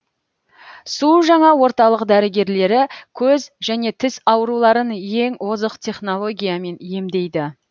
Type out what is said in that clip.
су жаңа орталық дәрігерлері көз және тіс ауруларын ең озық технологиямен емдейді